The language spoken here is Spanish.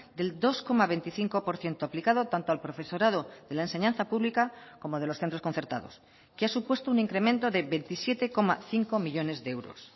del dos coma veinticinco por ciento aplicado tanto al profesorado de la enseñanza pública como de los centros concertados que ha supuesto un incremento de veintisiete coma cinco millónes de euros